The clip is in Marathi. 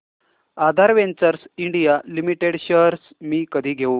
आधार वेंचर्स इंडिया लिमिटेड शेअर्स मी कधी घेऊ